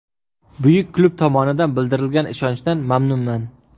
Buyuk klub tomonidan bildirilgan ishonchdan mamnunman.